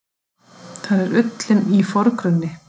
Þar er ullin í forgrunni.